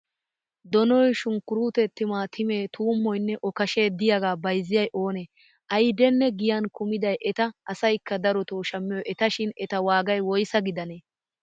Donoy shunkkuruute timaatimee tuummoyinne okashe diyaaga baayizziyay oonee? Ayidenne giyan kumiday eta asayikka daroto shammiyoy etashin eta waagay woyisaa gidanee?